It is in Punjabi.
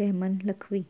ਰਹਿਮਾਨ ਲਖਵੀ